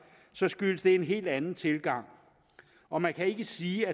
skyldes det en helt anden tilgang og man kan ikke sige